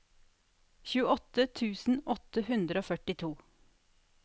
tjueåtte tusen åtte hundre og førtito